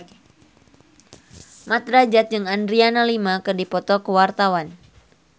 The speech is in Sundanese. Mat Drajat jeung Adriana Lima keur dipoto ku wartawan